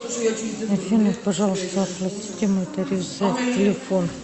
афина пожалуйста оплатите мой тариф за телефон